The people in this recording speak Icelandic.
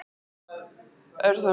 Er það minn eða þinn sjóhattur